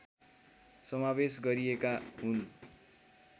समावेश गरिएका हुन्